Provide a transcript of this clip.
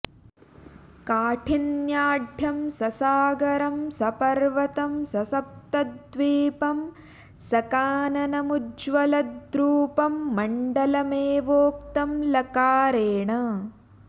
काठिन्याढ्यं ससागरं सपर्वतं स सप्तद्वीपं सकाननमुज्ज्वलद्रूपं मण्डलमेवोक्तं लकारेण